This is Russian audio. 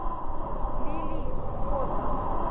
лили фото